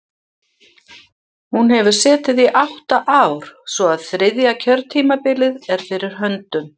Hún hefur setið í átta ár, svo að þriðja kjörtímabilið er fyrir höndum.